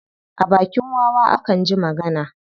A bakin wawa akan ji magana.